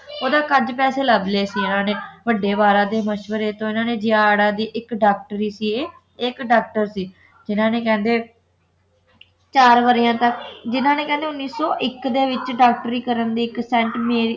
ਓਹਦਾ ਕੱਜ ਪੈਸੇ ਲੱਭ ਲਏ ਸੀ ਇਨ੍ਹਾਂ ਨੇ ਵੱਢੇ ਵਾਲਾ ਦੇ ਮਸ਼ਵਰੇ ਤੋਂ ਇਨ੍ਹਾਂ ਨੇ ਦੇ ਇੱਕ ਡਾਕਟਰ ਹੀ ਸੀ ਇਹ ਇੱਕ ਡਾਕਟਰ ਸੀ ਜਿਨ੍ਹਾਂ ਨੇ ਕਹਿੰਦੇ ਨੇ ਚਾਰ ਵਰ੍ਹਿਆਂ ਤੱਕ ਜਿਨ੍ਹਾਂ ਨੇ ਕਹਿੰਦੇ ਉਣੀ ਸੌ ਇੱਕ ਦੇ ਵਿੱਚ ਡਾਕਟਰੀ ਕਰਨ ਦੇ ਇੱਕ ਸੇਂਟ